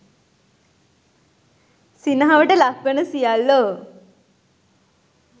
සිනහවට ලක් වන සියල්ලෝ